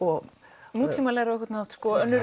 nútímalegra á einhvern hátt önnur